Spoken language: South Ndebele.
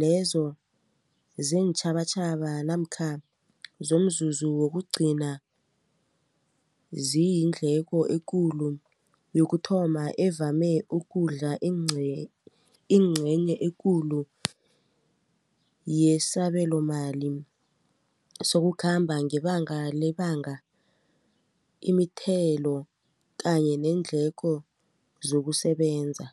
lezo zeentjhabatjhaba namkha zomzuzu wokugcina ziyindleko ekulu yokuthoma evame ukudla ingcenye ekulu yesabelomali sokukhamba ngebanga lebanga imithelo kanye neendleko zokusebenza.